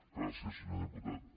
gràcies senyor diputat